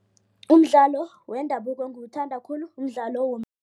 Umdlalo wendabuko engiwuthandako khulu mdlalo